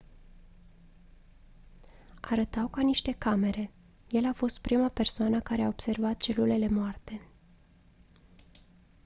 arătau ca niște camere el a fost prima persoană care a observat celulele moarte